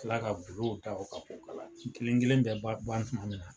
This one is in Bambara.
Tila ka ta o ka ko ka la, kelen kelen bɛ ban ban tuma min na